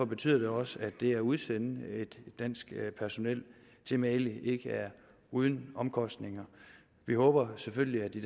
betyder også at det at udsende et dansk personel til mali ikke er uden omkostninger vi håber selvfølgelig at de